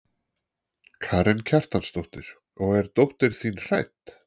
Karen Kjartansdóttir: Og er dóttir þín hrædd?